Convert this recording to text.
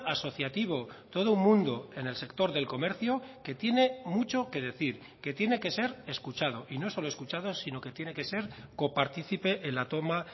asociativo todo un mundo en el sector del comercio que tiene mucho que decir que tiene que ser escuchado y no solo escuchado sino que tiene que ser copartícipe en la toma